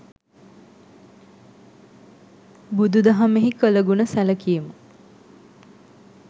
බුදු දහමෙහි කළගුණ සැලකීම,